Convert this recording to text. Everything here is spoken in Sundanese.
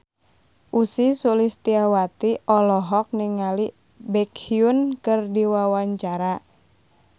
Ussy Sulistyawati olohok ningali Baekhyun keur diwawancara